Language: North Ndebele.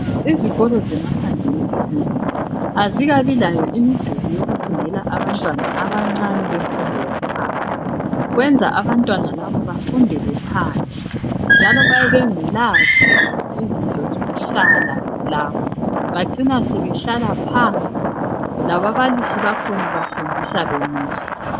Izikolo zemaphandleni ezinengi azikabi layo imiduli yokufundela abantwana abancane bemfundo phansi, kwenza abantwana laba befundele phandle njalo bayabe bengelazo izinto zokuhlala bacina sebehleli phansi lababalisi bakhona bafundisa bemile.